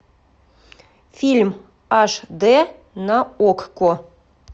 фильм аш д на окко